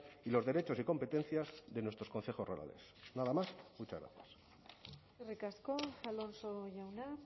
y los derechos y competencias de nuestros concejos rurales nada más muchas gracias eskerrik asko alonso jauna